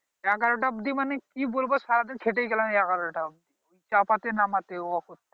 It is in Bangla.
এগারো টা অবধি মানে কি বলবো সারা দিন খেটেই গেলাম এগারো টা অবধি চাপাতে নামাতে ও